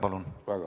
Palun!